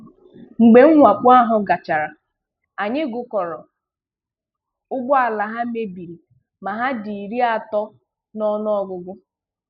Mgbe mwakpo ahụ gachara, anyị gụkọrọ ụgbọala ha mebiri ma hà dị iri atọ na ọnụọgụgụ.